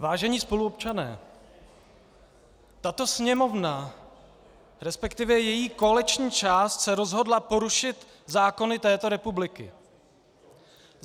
Vážení spoluobčané, tato Sněmovna, respektive její koaliční část, se rozhodla porušit zákony této republiky!